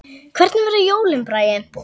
Hvernig verða jólin, Bragi?